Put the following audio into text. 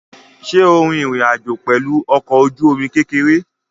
Ṣé o rin ìrìn àjò pẹ̀lú ọkọ̀-ojúomi kékeré?